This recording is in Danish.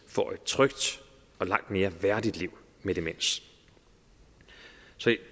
får et trygt og langt mere værdigt liv med demens